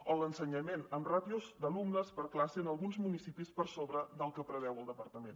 o a l’ensenyament amb ràtios d’alumnes per classe en alguns municipis per sobre del que preveu el departament